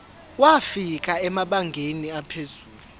wafika emabangeni aphezulu